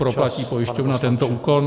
Proplatí pojišťovna tento úkon?